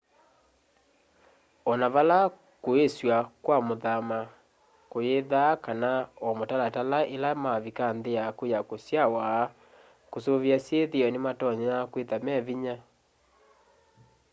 ona vala kuisywa kwa kuthama kuyithaa kana o mutalatala ila wavika nthi yaku ya kusyawa kusuvia syithio nimatonya kwitha me vinya